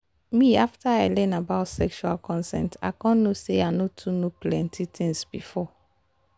na after i learn about sexual consent i come know say i no too know plenty things before